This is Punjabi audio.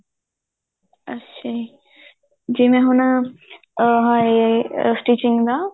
ਅੱਛਾ ਜੀ ਜਿਵੇਂ ਹੁਣ ਅਹ ਇਹ stitching ਦਾ